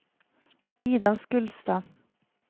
Ida Skulstad